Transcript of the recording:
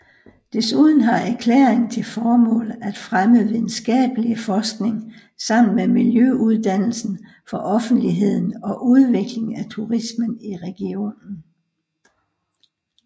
Desuden har erklæringen til formål at fremme videnskabelig forskning sammen med miljøuddannelse for offentligheden og udvikling af turismen i regionen